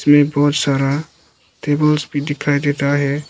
ये बोहत सारा टेबल्स भी दिखाई देता है।